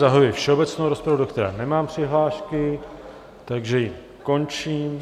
Zahajuji všeobecnou rozpravu, do které nemám přihlášky, takže ji končím.